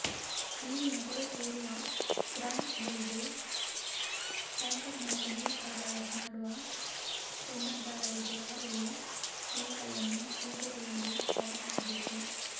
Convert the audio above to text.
ನೀರಿನ ಕೊರತೆ ಇರುವ ಗ್ರಾಪಂಗಳಿಗೆ ಟ್ಯಾಂಕರ್ ಮೂಲಕ ನೀರು ಸರಬರಾಜು ಮಾಡುವ ಟೆಂಡರ್ದಾರರಿಗೆ ಅವರ ಬಿಲ್ಗಳನ್ನು ಶೀಘ್ರದಲ್ಲಿ ಪಾವತಿಸಬೇಕು